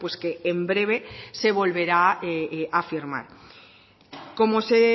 que en breve se volverá a firmar como se